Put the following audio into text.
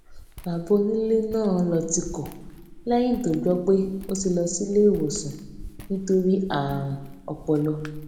bàbá onilé náà ló tìkò léyìn tó gbó pé ó ti lọ sílé ìwòsàn nítorí àrùn ọpọlọ